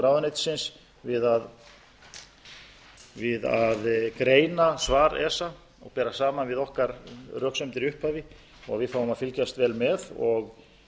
ráðuneytisins við að greina svar esa og bera saman við okkar röksemdir í upphafi ég treysti því að við fáum að fylgjast vel með og